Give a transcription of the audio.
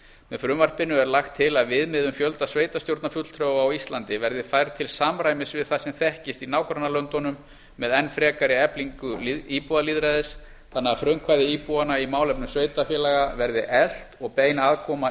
með frumvarpinu er lagt til að viðmið um fjölda sveitarstjórnarfulltrúa á íslandi verði færð til samræmis við það sem þekkist í nágrannalöndunum með enn frekari eflingu íbúalýðræðis þannig að frumkvæði íbúanna í málefnum sveitarfélaga verði eflt og bein aðkoma